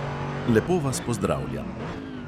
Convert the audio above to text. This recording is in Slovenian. Lepo vas pozdravljam.